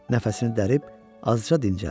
Nəfəsini dərib, azca dincəldi.